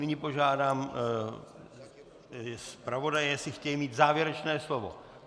Nyní požádám zpravodaje, jestli chtějí mít závěrečné slovo.